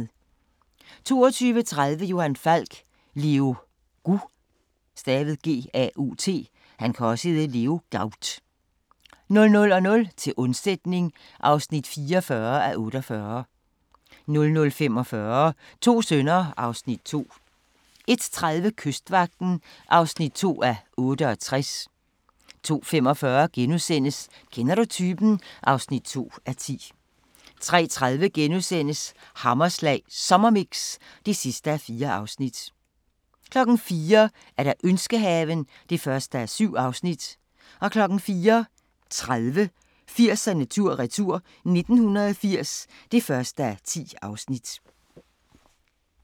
22:30: Johan Falk: Leo Gaut 00:00: Til undsætning (44:48) 00:45: To sønner (Afs. 2) 01:30: Kystvagten (2:68) 02:45: Kender du typen? (2:10)* 03:30: Hammerslag Sommermix (4:4)* 04:00: Ønskehaven (1:7) 04:30: 80'erne tur-retur: 1980 (1:10)